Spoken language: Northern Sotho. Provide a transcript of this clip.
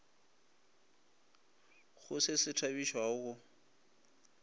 go se se thabišago go